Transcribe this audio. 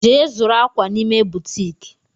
Je zuru akwa n'ime butiiki!